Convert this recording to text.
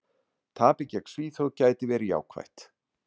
Tapið gegn Svíþjóð gæti verið jákvætt.